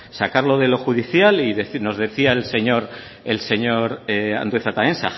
sacarlo de lo judicial y nos decía el señor andueza también